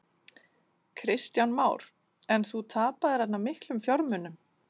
Kristján Már: En þú tapaðir þarna miklum fjármunum?